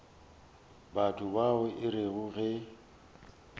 batho bao e rego ge